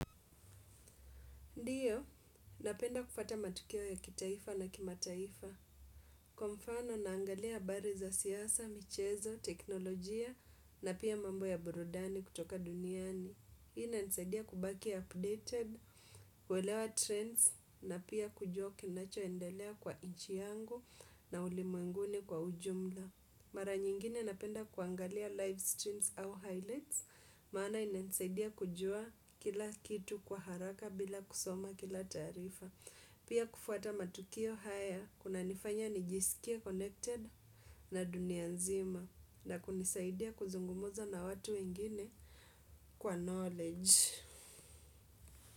Ndiyo, napenda kufuata matukio ya kitaifa na kimataifa. Kwa mfano naangalia habari za siasa, michezo, teknolojia na pia mambo ya burudani kutoka duniani. Hii inanisaidia kubaki ya updated, kuelewa trends na pia kujua kinachoendelea kwa nchi yangu na ulimwenguni kwa ujumla. Mara nyingine napenda kuangalia live streams au highlights, maana inanisaidia kujua kila kitu kwa haraka bila kusoma kila taarifa. Pia kufuata matukio haya, kunanifanya nijisikie connected na dunia nzima na kunisaidia kuzungumuza na watu wengine kwa knowledge.